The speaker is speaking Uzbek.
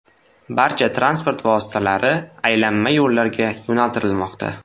Barcha transport vositalari aylanma yo‘llarga yo‘naltirilmoqda.